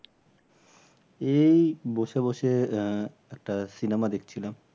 এই বসে বসে আহ একটা cinema দেখছিলাম।